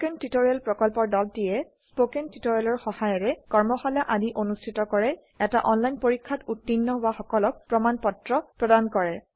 spoken tutorial প্ৰকল্পৰ দলটিয়ে spoken টিওটৰিয়েলৰ সহায়েৰে কৰ্মশালা আদি অনুষ্ঠিত কৰে এটা অনলাইন পৰীক্ষাত উত্তীৰ্ণ হোৱা সকলক প্ৰমাণ পত্ৰ প্ৰদান কৰে